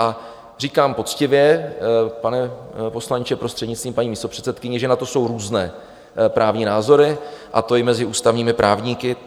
A říkám poctivě, pane poslanče, prostřednictvím paní místopředsedkyně, že na to jsou různé právní názory, a to i mezi ústavními právníky.